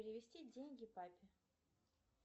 перевести деньги папе